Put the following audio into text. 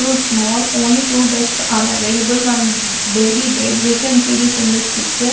two small only two beds are available one baby bed we can see this in this picture.